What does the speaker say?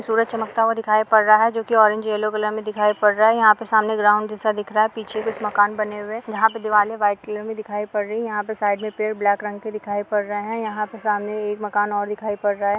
सूरज चमकता हुवा दिखाई पड़ रहा है जो की ओरेज और यल्लो कलर में दिखाई पड़ रहा है यहा पे सामने ग्राउंड जेसा दिख रहा है पीछे कुछ मकना बने हुए है यहा पे दीवारे वाईट कलर में दिखाई पड़ रही है यहा पे साईड में पेड़ ब्लेक रंग के दिखाई पड़ रहे है यहा पे समने एक मकान और दिखाई पड़ रहा है।